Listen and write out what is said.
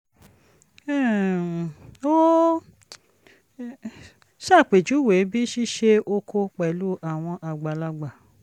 um ó ṣàpèjúwe bí ṣíṣe oko pẹ̀lú àwọn àgbàlagbà